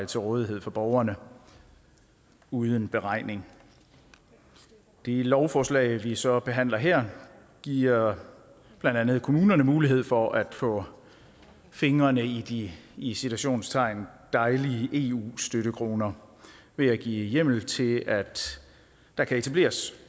til rådighed for borgerne uden beregning det lovforslag vi så behandler her giver blandt andet kommunerne mulighed for at få fingrene i de i citationstegn dejlige eu støttekroner ved at give hjemmel til at der kan etableres